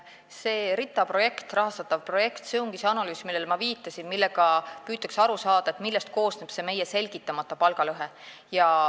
See RITA rahastatav projekt ongi see analüüs, millele ma viitasin, mille abil püütakse aru saada, millest koosneb meie selgitamata palgalõhe.